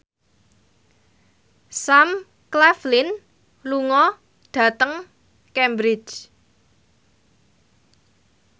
Sam Claflin lunga dhateng Cambridge